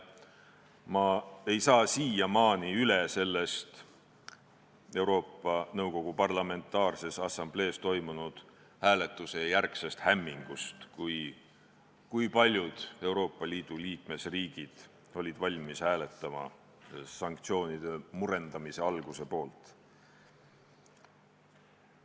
Ma ei saa siiamaani üle Euroopa Nõukogu Parlamentaarses Assamblees toimunud hääletuse järgsest hämmingust, kui paljud Euroopa Liidu liikmesriigid olid valmis hääletama sanktsioonide murendamise alguse poolt.